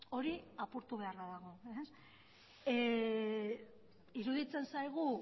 hori apurtu beharra dago iruditzen zaigu